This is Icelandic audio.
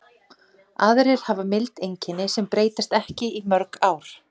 Aðrir hafa mild einkenni sem breytast ekki í mörg ár.